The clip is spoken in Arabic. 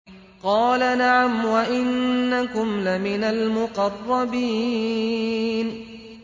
قَالَ نَعَمْ وَإِنَّكُمْ لَمِنَ الْمُقَرَّبِينَ